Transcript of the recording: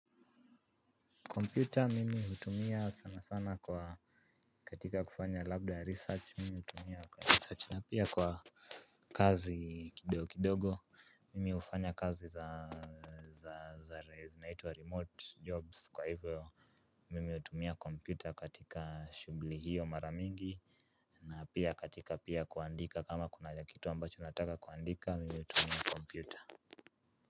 Computer mimi hutumia sana sana kwa katika kufanya labda research mimi hutumia kwa research na pia kwa kazi kidogo kidogo mimi hufanya kazi za za za zinaitwa remote jobs kwa hivyo. Mimi utumia computer katika shughuli hiyo mara mingi na pia katika pia kuandika kama kuna kakitu ambacho nataka kuandika mimi hutumia compyuta.